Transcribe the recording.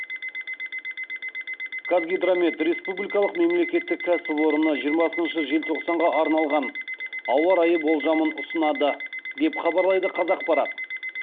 қазгидромет республикалық мемлекеттік кәсіпорыны жиырмасыншы желтоқсанға арналған ауа райы болжамын ұсынады деп хабарлайды қазақпарат